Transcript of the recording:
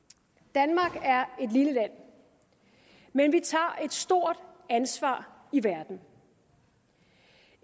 danmark er et lille land men vi tager et stort ansvar i verden